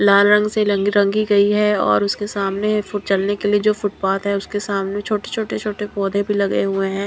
लाल रंग से लंगी रंगी गई हैं और उसके सामने फुट चलने के लिए जो फुटपाथ हैं उसके सामने छोटे छोटे छोटे पौधे भीं लगे हुए हैं।